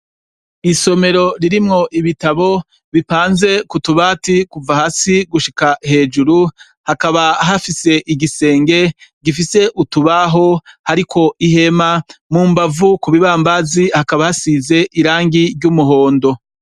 Isomero ririmwo ibitabo bipanze kutubati kuva hasi gushika hejuru hakaba hafise igisenge gifise utubaho hariko ihema mu mbavu ku bibambazi hakaba hasize irangi ry'umuhondo.